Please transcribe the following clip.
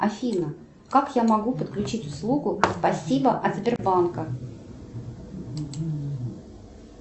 афина как я могу подключить услугу спасибо от сбербанка